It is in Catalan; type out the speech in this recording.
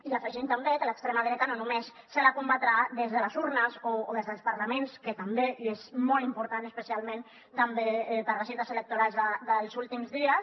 i hi afegim també que a l’extrema dreta no només se la combatrà des de les urnes o des dels parlaments que també i és molt important especialment també per a les cites electorals dels últims dies